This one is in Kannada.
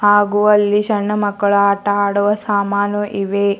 ಹಾಗು ಅಲ್ಲಿ ಸಣ್ಣ ಮಕ್ಕಳ ಆಟ ಆಡುವ ಸಾಮಾನು ಇವೆ.